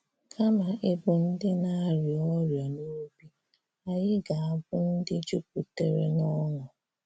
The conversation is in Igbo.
Kàmá íbụ̀ ndị ‘na-àríá ọríà n’òbì,’ ànyị̀ gā-ábụ̀ ndị jùpùtèrè n’ọṅụ́.